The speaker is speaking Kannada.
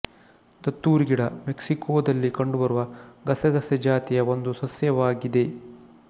ದತ್ತುರಿ ಗಿಡ ಮೆಕ್ಸಿಕೊದಲ್ಲಿ ಕಂಡುಬರುವ ಗಸಗಸೆ ಜಾತಿಯ ಒಂದು ಸಸ್ಯವಾಗಿದೆ